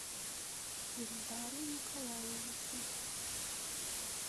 ильдару николаевичу